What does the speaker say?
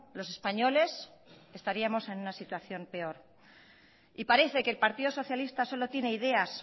los españoles estaríamos en una situación peor y parece que el partido socialista solo tiene ideas